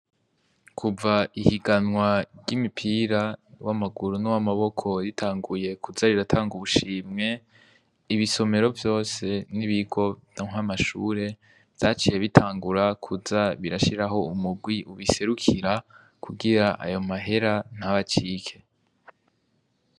Kuva ihiganwa ry’imipira w’amaguru n’uwa maboko ritanguye, kuza riratanga ubushimwe, ibisomero vyose n’ibigo na mashure vyaciye bitangura kuza birashiraho umurwi ubiserukira, kugira ayo mahera ntabacike.